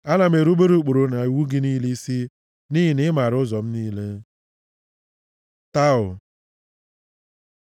Ana m erubere ụkpụrụ na iwu gị niile isi, nʼihi na ị maara ụzọ m niile. ת Taw